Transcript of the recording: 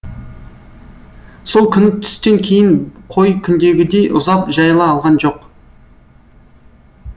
сол күні түстен кейін қой күндегідей ұзап жайыла алған жоқ